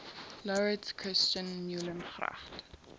laurits christian meulengracht